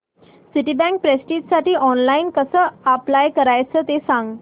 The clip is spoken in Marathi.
सिटीबँक प्रेस्टिजसाठी ऑनलाइन कसं अप्लाय करायचं ते सांग